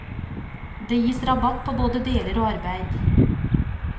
Det gis rabatt på både deler og arbeid.